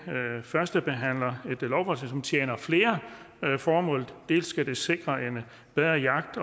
førstebehandler et lovforslag som tjener flere formål dels skal det sikre en bedre jagt